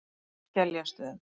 Skeljastöðum